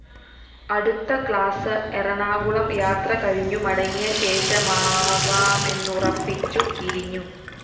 അടുത്ത ക്ലാസ്‌ എറണാകുളം യാത്ര കഴിഞ്ഞു മടങ്ങിയശേഷമാവാമെന്നുറപ്പിച്ചു പിരിഞ്ഞു